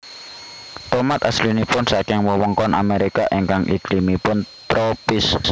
Tomat aslinipun saking wewengkon Amerika ingkang iklimipun tropis